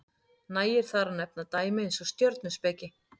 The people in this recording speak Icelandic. nægir þar að nefna dæmi eins og stjörnuspeki